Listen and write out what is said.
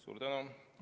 Suur tänu!